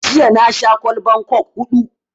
Jiya na sha kwallban coke huɗu